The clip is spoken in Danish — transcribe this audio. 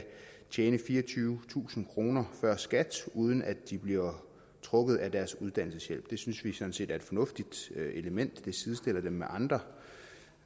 tjene fireogtyvetusind kroner før skat uden at de bliver trukket i deres uddannelseshjælp det synes vi sådan set er et fornuftigt element der sidestiller dem med andre